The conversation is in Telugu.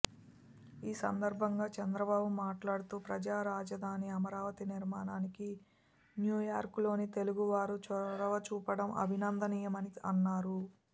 ఈసందర్భంగా చంద్రబాబు మాట్లాడుతూ ప్రజారాజధాని అమరావతి నిర్మాణానికి న్యూయార్కులోని తెలుగువారు చొరవచూపటం అభినందనీయమని అన్నారు